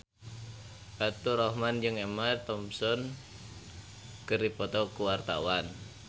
Faturrahman jeung Emma Thompson keur dipoto ku wartawan